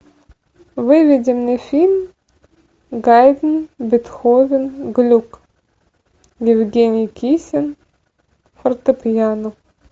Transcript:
выведи мне фильм гайдн бетховен глюк евгений кисин фортепьяно